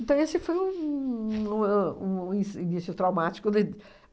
Então esse foi um um ahn um inci início traumático de